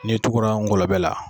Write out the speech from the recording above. N'e tugura ngɔlɔbɛ la